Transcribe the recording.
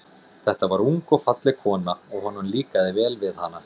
Þetta var ung og falleg kona, og honum líkaði vel við hana.